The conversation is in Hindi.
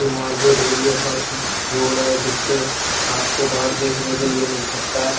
मार्केट एरिया का रोड है जिस पे बहार देखने के लिए मिल सकता है।